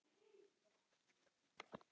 Djús og kaffi á eftir.